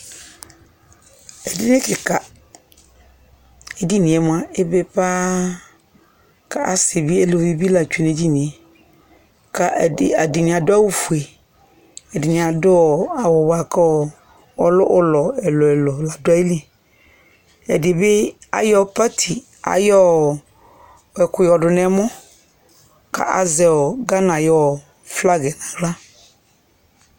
Edini kɩka, edini yɛ mʋa, ebe paaa, k'azɛ evidzedɩnɩ lɛ tsue n'edni yɛ ka, ɛdɩnɩ adʋ awʋ fue, ɛdɩnɩ adʋ ɔɔ awʋ bʋa kʋ ɔɔ ʋlɔ ɛlʋ ɛlʋ ɔdʋ ayili, ɛdɩ ɓɩ ayɔ tɔtsɩ ayɔɔ ɛkʋ yɔ dʋ n:ɛmɔ k'azɛ ɔɔ Ghana ayʋ flagi yɛ n'aɣla